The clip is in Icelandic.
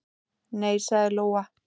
Nei, sagði Lóa.